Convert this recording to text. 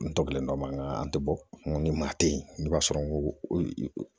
N tɔbilen dɔ ma an tɛ bɔ ni maa tɛ yen i b'a sɔrɔ n ko